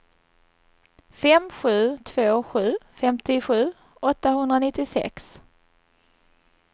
fem sju två sju femtiosju åttahundranittiosex